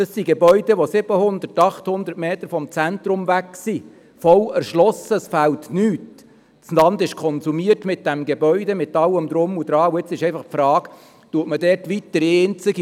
Die EVP-Fraktion wird diesen beiden Planungserklärungen mehrheitlich zustimmen.